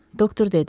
Doktor dedi.